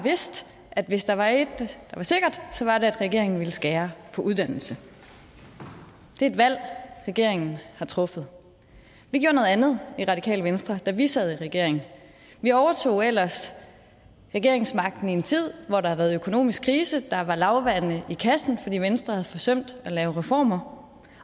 vidst at hvis der var et der var sikkert så var det at regeringen ville skære på uddannelse det er et valg regeringen har truffet vi gjorde noget andet i radikale venstre da vi sad i regering vi overtog ellers regeringsmagten i en tid hvor der havde været økonomisk krise der var lavvande i kassen fordi venstre havde forsømt at lave reformer